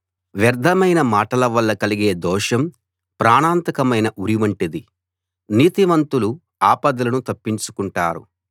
వ్యర్ధమైన మాటల వల్ల కలిగే దోషం ప్రాణాంతకమైన ఉరి వంటిది నీతిమంతులు ఆపదలను తప్పించుకుంటారు